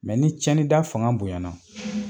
Mɛ ni cɛni da fanga bonyana